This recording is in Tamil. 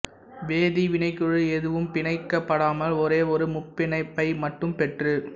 வேதி வினைக்குழு எதுவும் பிணைக்கப்படாமல் ஒரே ஒரு முப்பிணைப்பை மட்டும் பெற்று